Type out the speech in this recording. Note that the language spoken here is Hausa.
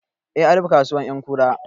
Eh, an rufe kasuwar ƴankura